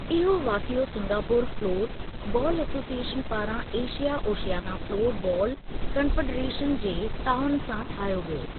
इहो वाक़िओ Singapore floor ball association पारां Asia Oceania floor ball confederation जे तआवुन सां ठाहियो वियो।